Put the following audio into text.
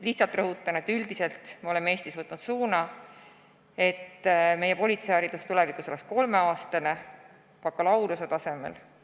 Lihtsalt rõhutan, et üldiselt oleme me Eestis võtnud suunaks, et meie politseiharidus oleks tulevikus kolmeaastane, bakalaureusetasemel.